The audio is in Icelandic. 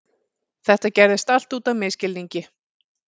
Þetta gerðist allt út af misskilningi.